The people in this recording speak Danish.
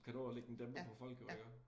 Kan nå at ligge en dæmper på folk jo iggå